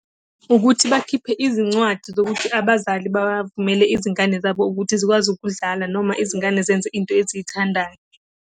Ukuthi bakhiphe izincwadi zokuthi abazali bavumele izingane zabo ukuthi zikwazi ukudlala noma izingane zenze into eziyithandayo.